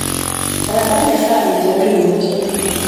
Etadanye esaani tiatua emoti.